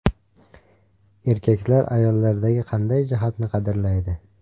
Erkaklar ayollardagi qanday jihatlarni qadrlaydi?.